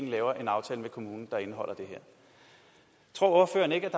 laver en aftale med kommunerne der indeholder det her tror ordføreren ikke at